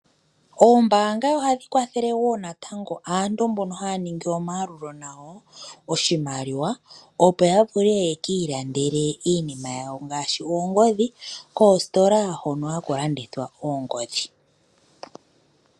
Oombaanga ohadhi kwathele wo natango aantu mbono ha ningi omayalulo nayo oshimaliwa opo yeki ilandele iimaliwa yawo ngaashi oongodhi koositola hono ha ku landthwa oongodhi.